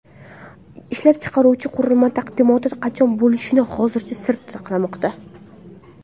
Ishlab chiqaruvchi qurilma taqdimoti qachon bo‘lishini hozircha sir saqlamoqda.